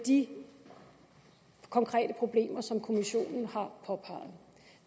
de konkrete ting som kommissionen har påpeget